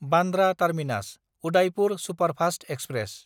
Bandra टार्मिनास–उदायपुर superfast express